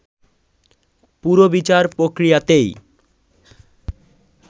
পুরো বিচার প্রক্রিয়াতেই